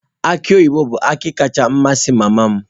Aki oyibo bụ akị kacha amasị mama m.